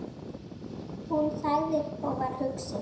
Hún þagði og var hugsi.